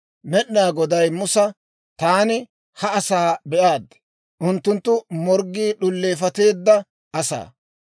Med'inaa Goday Musa, «Taani ha asaa be'aad; unttunttu morggii d'uleefatteedda asaa.